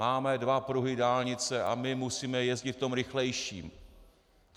Máme dva pruhy dálnice a my musíme jezdit v tom rychlejším!